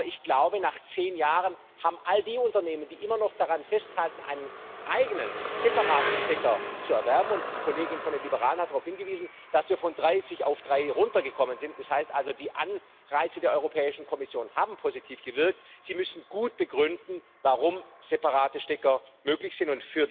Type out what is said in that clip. Aber ich glaube, nach zehn Jahren müssen all die Unternehmen, die immer noch daran festhalten, einen eigenen separaten Stecker zu erwerben und die Kollegin von den Liberalen hat darauf hingewiesen, dass wir von 30 auf drei heruntergekommen sind, das heißt also, die Anreize der Europäischen Kommission haben positiv gewirkt gut begründen, warum separate Stecker möglich sind.